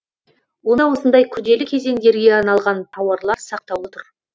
онда осындай күрделі кезеңдерге арналған тауарлар сақтаулы тұр